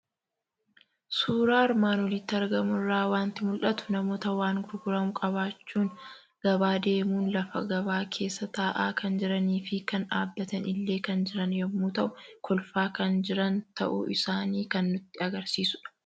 Suuraa armaan olitti argamu irraa waanti mul'atu; namoota waan gurguramu qabachuun gabaa deemun lafa gabaa keessa taa'a kan jiranifi kan dhaabbatani illee kan jiran yommuu ta'u, kolfaa kan jiran ta'uu isaani kan nutti agarsiisudha.